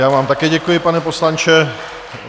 Já vám také děkuji, pane poslanče.